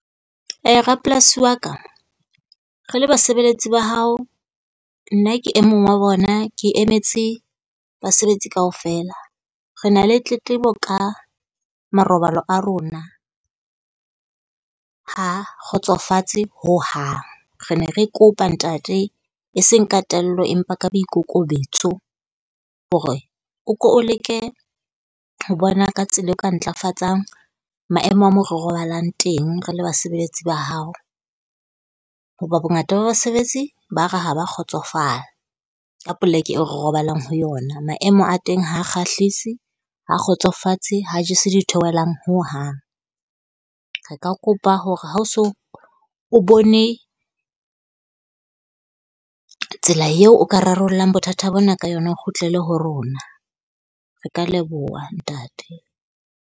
Rapolasi wa ka, re le basebeletsi ba hao, nna ke e mong wa bona ke emetse basebetsi kaofela. Re na le tletlebo ka marobalo a rona, ha kgotsofatse hohang. Re ne re kopa ntate e seng ka tello, empa ka boikokobetso hore o ko o leke ho bona ka tsela eo o ka ntlafatsang maemo a moo re robalang teng re le basebeletsi ba hao. Hoba bongata ba basebetsi ba re ha ba kgotsofala ka poleke e re robalang ho yona. Maemo a teng ha kgahlise, ha kgotsofatse, ha jese ditheohelang hohang. Re ka ka kopa hore ha o so o bone tsela eo o ka rarollang bothata bona ka yona o kgutlele ho rona. Re ka leboha ntate.